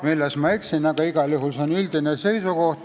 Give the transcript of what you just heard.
Aga igal juhul on see üldine praktika.